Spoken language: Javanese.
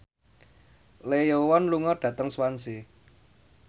Lee Yo Won lunga dhateng Swansea